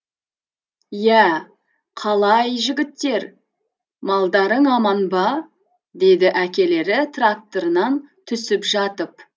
иә қалай жігіттер малдарың аман ба деді әкелері тракторынан түсіп жатып